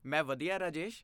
ਮੈਂ ਵਧੀਆ, ਰਾਜੇਸ਼।